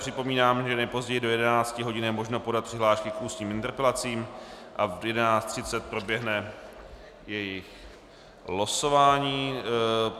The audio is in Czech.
Připomínám, že nejpozději do 11 hodin je možno podat přihlášky k ústním interpelacím a v 11.30 proběhne jejich losování.